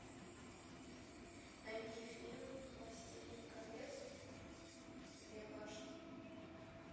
найди фильм властелин колец две башни